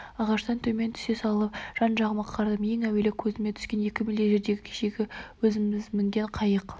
ағаштан төмен түсе салып жан-жағыма қарадым ең әуелі көзіме түскені екі мильдей жердегі кешегі өзіміз мінген қайық